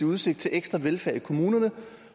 udsigt til ekstra velfærd i kommunerne